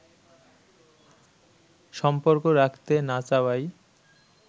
সম্পর্ক রাখতে না চাওয়ায়